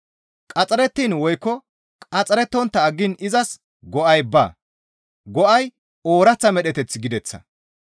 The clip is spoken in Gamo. Qaxxarettiin woykko qaxxarettontta aggiin izas go7ay baa; go7ay ooraththa medheteth gideththa.